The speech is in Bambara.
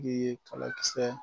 Ye kalakisɛ